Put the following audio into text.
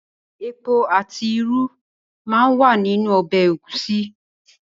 Epo àti irú máa ń wà nínú ọbẹ̀ Ẹ̀gúsí